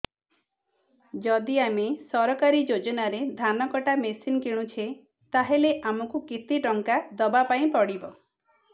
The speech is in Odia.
ଯଦି ଆମେ ସରକାରୀ ଯୋଜନାରେ ଧାନ କଟା ମେସିନ୍ କିଣୁଛେ ତାହାଲେ ଆମକୁ କେତେ ଟଙ୍କା ଦବାପାଇଁ ପଡିବ